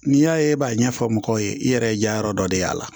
N'i y'a ye e b'a ɲɛfɔ mɔgɔw ye i yɛrɛ ye jayɔrɔ dɔ de y'a la